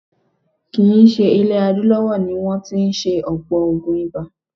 Kì í ṣe ilẹ̀ adúláwọ̀ ni wọ́n tí ń ṣe ọ̀pọ̀ oògùn ibà.